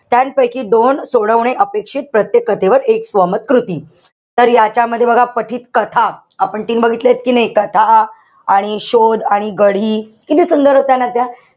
त्याचपैकी दोन सोडवणे अपेक्षित. प्रत्येक कथेवर एक स्वमत कृती. तर यांच्यामध्ये बघा, पठीत कथा. आपण तीन बघितल्यात कि नाई? कथा आणि शोध आणि गढी. किती सुंदर होत्या ना त्या?